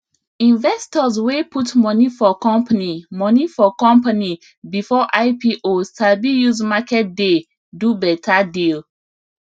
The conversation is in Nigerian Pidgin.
investors wey put money for company money for company before ipo sabi use market day do better deal